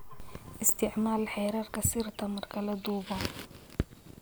Isticmaal xeerarka sirta marka la duubo.